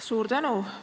Suur tänu!